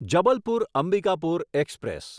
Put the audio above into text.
Jabalpur Ambikapur express